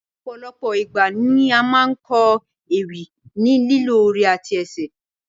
Ọ̀pọ̀lọpọ̀ igba ni a máa n kọ ewì ni lílò ori àti ẹsẹ